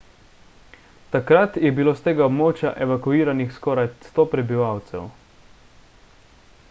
takrat je bilo s tega območja evakuiranih skoraj 100 prebivalcev